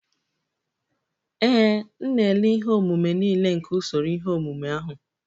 Ee, m na-ele ihe omume niile nke usoro ihe omume ahụ.